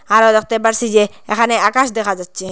আরও দেখতে পারসি যে এখানে আকাশ দেখা যাচ্চে।